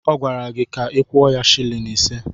Ọ gwara ka ị kwuo ya silin ise.